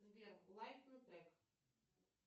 сбер лайкни трек